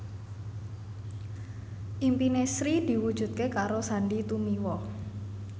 impine Sri diwujudke karo Sandy Tumiwa